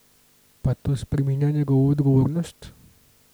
Pa to spreminja njegovo odgovornost?